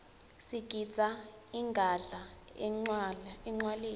sigidza ingadla encwaleni